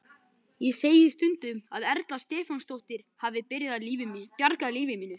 Ég segi stundum að Erla Stefánsdóttir hafi bjargað lífi mínu.